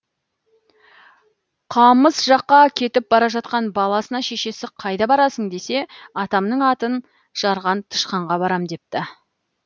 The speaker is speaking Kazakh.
қамыс жаққа кетіп бара жатқан баласына шешесі қайда барасың десе атамның атын жарған тышқанға барам депті